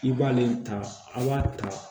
I b'ale ta a b'a ta